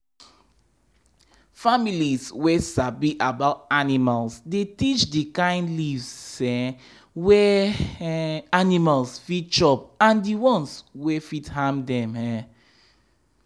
families wey sabi about animals dey teach d kain leaves um wey um animals fit chop and the ones wey fit harm dem. um